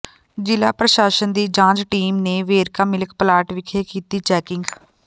ਜ਼ਿਲ੍ਹਾ ਪ੍ਰਸ਼ਾਸਨ ਦੀ ਜਾਂਚ ਟੀਮ ਨੇ ਵੇਰਕਾ ਮਿਲਕ ਪਲਾਂਟ ਵਿਖੇ ਕੀਤੀ ਚੈਕਿੰਗ